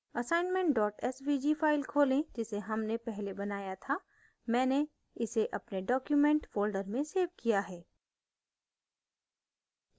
assignment svg file खोलें जिसे हमने पहले बनाया था मैंने इसे अपने documents folder में svg किया है